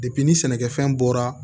ni sɛnɛkɛfɛn bɔra